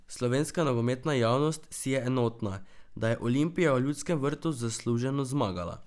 Slovenska nogometna javnost si je enotna, da je Olimpija v Ljudskem vrtu zasluženo zmagala.